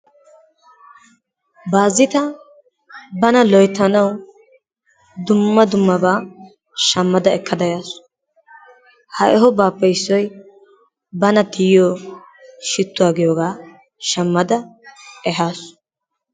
Baazita bana loyttanawu dumma dummabaa shammadda ekkada yaasu. Ha ehobaappe issoy bana tiyiyo shituwa giyogaa shammada ehaasu.